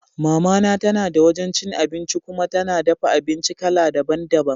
Mama na tana da wajan cin abinci kuma tana dafa abinci kala daban daban.